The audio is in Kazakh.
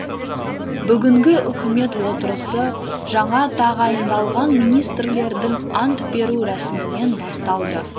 бүгінгі үкімет отырысы жаңа тағайындалған министрлердің ант беру рәсімімен басталды